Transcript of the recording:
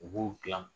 U b'u dilan